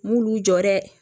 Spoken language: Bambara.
N m'ulu jɔ dɛ